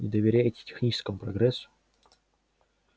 доверяете техническому прогрессу